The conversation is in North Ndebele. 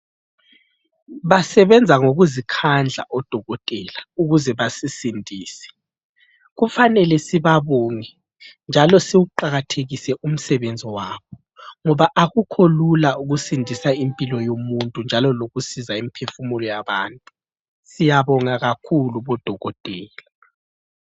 Basebenza ngokuzikhandla odokotela ukuze basisindise. Kufanele sibabonge njalo siwuqakathekise umsebenzi wabo ngoba akukho lula ukusindisa impilo yomuntu njalo lokusiza imphefumulo yabantu. Siyabonga kakhulu bodokotela.